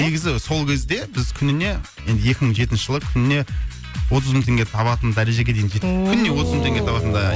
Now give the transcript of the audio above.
негізі сол кезде біз күніне енді екі мың жетінші жылы күніне отыз мың теңге табатын дәрежеге дейін жеттік ооо күніне отыз мың табатындай